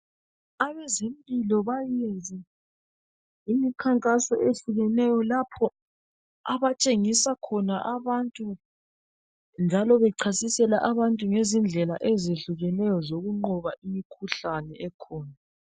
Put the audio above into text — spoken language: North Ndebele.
Abezempilo bayenze imikhankaso ehlukeneyo lapho abatshengisa khona abantu njalo bechasisela abantu ngezindlela ezehlukeneyo zokunqoba imikhuhlane ekhona.